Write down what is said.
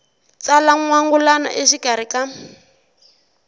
tsala n wangulano exikarhi ka